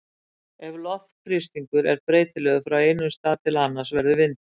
ef loftþrýstingur er breytilegur frá einum stað til annars verður vindur